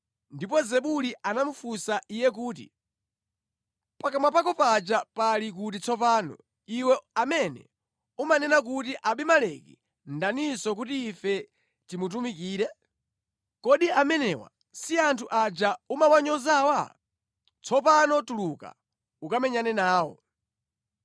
Ndipo Zebuli anamufunsa iye kuti, “Pakamwa pako paja pali kuti tsopano, iwe amene umanena kuti, Abimeleki ndaninso kuti ife timutumikire? Kodi amenewa si anthu aja umawanyozawa? Tsopano tuluka ukamenyane nawo.”